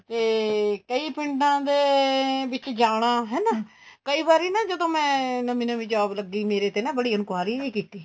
ਤੇ ਕਈ ਪਿੰਡਾ ਦੇ ਵਿੱਚ ਜਾਣਾ ਹਨਾ ਕਈ ਵਾਰੀ ਨਾ ਮੈਂ ਮੇਰੀ ਨਵੀ ਨਵੀ job ਲੱਗੀ ਮੇਰੇ ਤੇ ਨਾ ਬੜੀ enquiry ਵੀ ਕੀਤੀ